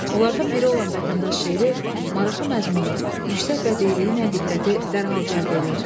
Onlardan biri olan Vətəndaş şeiri maraqlı məzmunu, yüksək bədiiyyi ilə diqqəti dərhal cəlb eləyir.